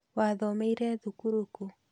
Wathomeire thukuru kũ?